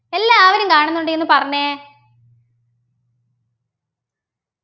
എല്ലാവരും കാണുന്നുണ്ട് എന്ന് പറഞ്ഞെ